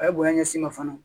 A ye bonya ɲɛsin ma fana